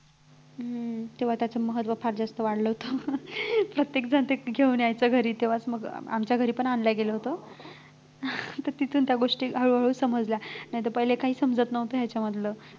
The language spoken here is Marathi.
हम्म तेव्हा त्याच महत्व फार जास्त वाढलं होतं प्रत्येकजण ते घेऊन यायचा घरी तेव्हाच मग आमच्या घरी पण आणलं गेलं होत तिथून त्या गोष्टी हळूहळू समजल्या नाहीतर पहिले काही समजत नव्हतं ह्याच्यामधलं मी ता